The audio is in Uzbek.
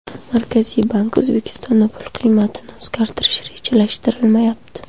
Markaziy bank: O‘zbekistonda pul qiymatini o‘zgartirish rejalashtirilmayapti.